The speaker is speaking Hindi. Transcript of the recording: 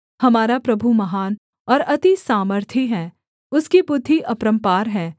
हमारा प्रभु महान और अति सामर्थी है उसकी बुद्धि अपरम्पार है